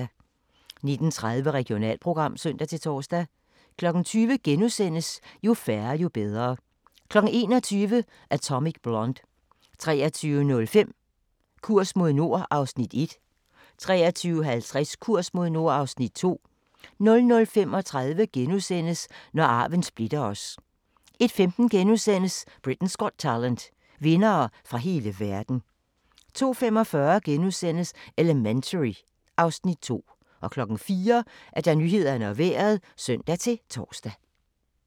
19:30: Regionalprogram (søn-tor) 20:00: Jo færre, jo bedre * 21:00: Atomic Blonde 23:05: Kurs mod nord (Afs. 1) 23:50: Kurs mod nord (Afs. 2) 00:35: Når arven splitter os * 01:15: Britain’s Got Talent - vindere fra hele verden * 02:45: Elementary (Afs. 2)* 04:00: Nyhederne og Vejret (søn-tor)